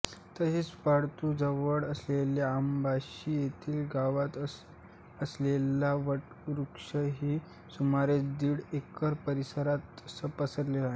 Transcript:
तसेच पातूरजवळ असलेल्या अंबाशी येथील गावात असलेला वटवृक्षही सुमारे दिड एकर परिसरात पसरलेला आहे